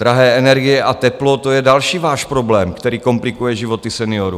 Drahé energie a teplo, to je další váš problém, který komplikuje životy seniorů.